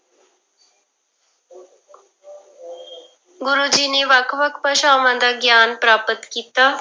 ਗੁਰੂ ਜੀ ਨੇ ਵੱਖ ਵੱਖ ਭਾਸ਼ਾਵਾਂ ਦਾ ਗਿਆਨ ਪ੍ਰਾਪਤ ਕੀਤਾ।